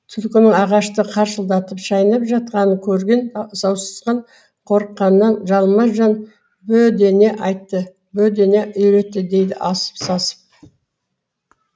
түлкінің ағашты қаршылдатып шайнап жатқанын көрген сауысқан қорыққанынан жалма жан бө дене айтты бө дене үйретті дейді асып сасып